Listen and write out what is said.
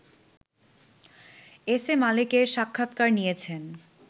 S A মালেকের সাক্ষাৎকার নিয়েছেন